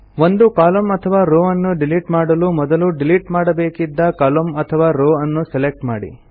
ಒಂದು ಕಾಲಮ್ನ ಅಥವಾ ರೋವ್ ಅನ್ನು ಡಿಲಿಟ್ ಮಾಡಲು ಮೊದಲು ಡಿಲಿಟ್ ಮಾಡಬೇಕಿದ್ದ ಕಾಲಮ್ನ ಅಥವ ರೋವ್ ಅನ್ನು ಸೆಲೆಕ್ಟ್ ಮಾಡಿ